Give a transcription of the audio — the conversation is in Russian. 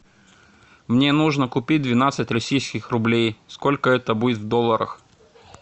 мне нужно купить двенадцать российских рублей сколько это будет в долларах